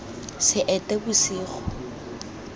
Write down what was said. seetebosigo